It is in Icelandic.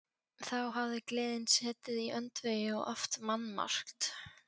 Þá hafði gleðin setið í öndvegi og oft mannmargt.